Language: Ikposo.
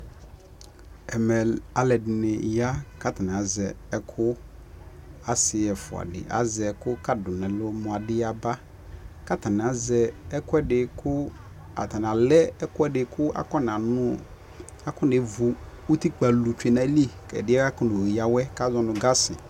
ɛmɛ alʋɛdini ya kʋ atani azɛ ɛkʋ, asii ɛƒʋa di azɛ ɛkʋ kadi dʋnʋ ɛlʋ mʋ adi yaba kʋ atani azɛ ɛkʋɛdi kʋ atani alɛ ɛkʋɛdi kʋ akʋ nɛ ɣʋ ʋtikpa lʋ twɛ nʋ ali kʋ akɔnɔ yawɛ kʋ azɔnʋ gasi